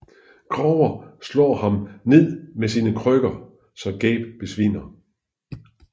Grover slår ham ned med sine krykker så Gabe besvimer